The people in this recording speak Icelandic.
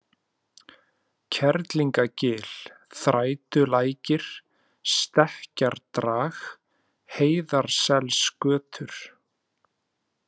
Kerlingagil, Þrætulækir, Stekkjardrag, Heiðarselsgötur